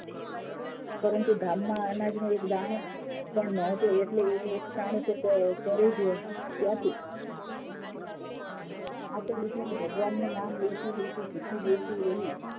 પરંતુ ગામ માં અનાજનો એક દાણો પણ ન હતો એટલે એ એક ટાણું પણ કરે ક્યાંથી આ તો તે ભગવાન નું નામે લેતી લતી રહી